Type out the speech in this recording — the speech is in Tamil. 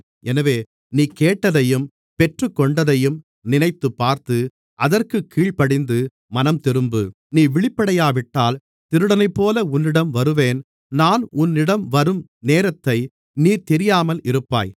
எனவே நீ கேட்டதையும் பெற்றுக்கொண்டதையும் நினைத்துப்பார்த்து அதற்குக் கீழ்ப்படிந்து மனம்திரும்பு நீ விழிப்படையாவிட்டால் திருடனைப்போல உன்னிடம் வருவேன் நான் உன்னிடம் வரும் நேரத்தை நீ தெரியாமல் இருப்பாய்